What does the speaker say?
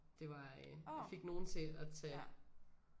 Det var øh jeg fik nogen til at tage